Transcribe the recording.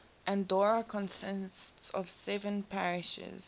andorra consists of seven parishes